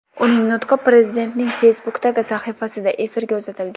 Uning nutqi prezidentning Facebook’dagi sahifasida efirga uzatilgan.